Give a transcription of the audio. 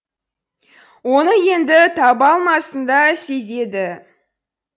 оны енді таба алмасын да сезеді